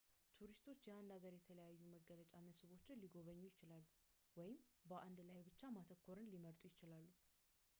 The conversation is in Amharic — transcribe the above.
ቱሪስቶች የአንድ ሀገር የተለያዩ መገለጫ መስህቦችን ሊጎበኙ ይችላሉ ወይም በአንዱ ላይ ብቻ ማተኮር ሊመርጡ ይችላሉ